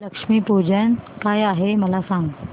लक्ष्मी पूजन काय आहे मला सांग